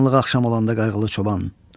Qaranlıq axşam olanda qayğılı çoban.